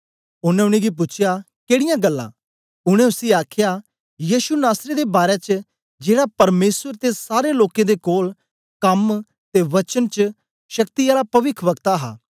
ओनें उनेंगी पूछया केडीयां गल्लां उनै उसी आखया यीशु नासरी दे बारै च जेड़ा परमेसर ते सारे लोकें दे कोल कम ते वचन च शक्ति आला पविखवक्ता हा